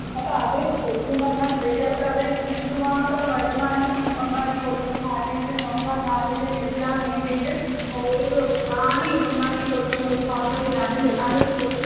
അപ്പോ അത് ശരിക്കും പറഞ്ഞ സ്ത്രീകൾക്ക് അത് എന്തു മാത്രം വരുമാനം ഉണ്ടാക്കികൊടുക്കുന്നു അല്ലെങ്കി സ്വന്തം കാലിൽ നിൽക്കാൻ വേണ്ടീട്ട് ഒരു ത്രാണി ഉണ്ടാക്കി കൊടുക്കുന്ന ഒരു പദ്ധതി ആണ് ലെ അലോയിച്ച് നോക്ക്.